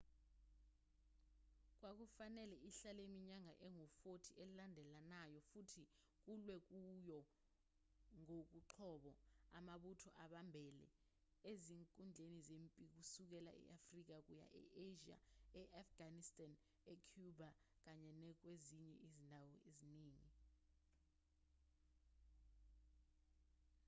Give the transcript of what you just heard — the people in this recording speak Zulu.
kwakufanele ihlale iminyaka engu-40 elandelayo futhi kulwe kuyo ngokoqobo amabutho abambele ezinkundleni zempi kusukela e-afrika kuya e-asia e-afghanistan ecuba kanye nakwezinye izindawo eziningi